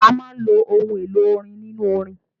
A máa ń lo òun èlò orin nínú orin.